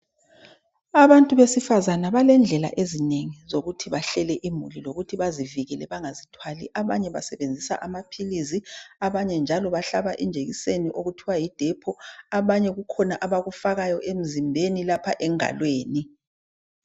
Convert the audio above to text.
Abantu besifazana belendlela ezinengi zokuthi bahlele imuli lokuthi bazivikele bangazithwali. Abanye basebenzisa amaphilisi abanye njalo bahlaba injekiseni okuthiwa yidepho abanye kukhona abakufakayo emzimbeni lapha enkabeni.